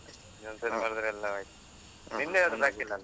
ಈ ಸರಿ ಬರ್ದ್ರೆ ಎಲ್ಲ ಆಯ್ತು. ನಿಂದು ಯಾವುದು ಬಾಕಿ ಇಲ್ಲ ಅಲ್ಲ?